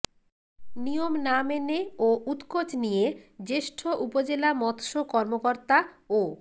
নিয়ম না মেনে ও উৎকোচ নিয়ে জ্যেষ্ঠ উপজেলা মৎস্য কর্মকর্তা ও